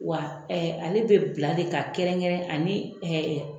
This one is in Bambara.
Wa ale bɛ bila de ka kɛrɛn kɛrɛn ani